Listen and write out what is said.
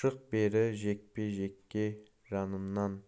шық бері жекпе-жекке жаныңнан